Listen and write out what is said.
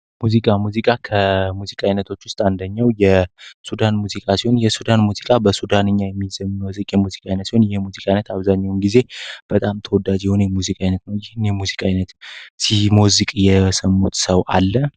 ሙዚቃ ሙዚቃ ከሙዚቃ አይነቶች ውስጥ አንደኛው የሱዳን ሙዚቃ ሲሆን የሱዳን ሙዚቃ በሱዳንኛውም ጊዜ በጣም ተወዳጅ የሆነ ሙዚቃ የሙዚቃ የሰሙት ሰው አለ